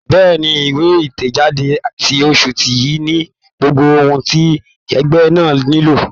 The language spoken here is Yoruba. Bẹ́ẹ̀ni, ìwé ìtẹ̀jáde ti oṣù yìí ni gbogbo ohun ti ẹgbẹ́ náà nílò.